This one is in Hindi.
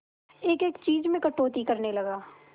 एक एक चीज में कटौती करने लगा